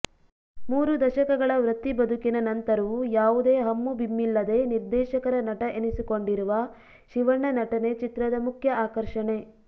ಮೂರು ದಶಕಗಳ ವೃತ್ತಿ ಬದುಕಿನ ನಂತರವು ಯಾವುದೇ ಹಮ್ಮುಬಿಮ್ಮಿಲ್ಲದೆ ನಿರ್ದೇಶಕರ ನಟ ಎನಿಸಿಕೊಂಡಿರುವ ಶಿವಣ್ಣ ನಟನೆ ಚಿತ್ರದ ಮುಖ್ಯ ಆಕರ್ಷಣೆ